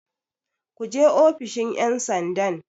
Ku je ofishin 'yansandan!